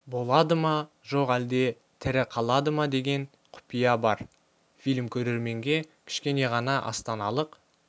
болады ма жоқ әлде тірі қалады ма деген құпия бар фильм көрерменге кішкене ғана астаналық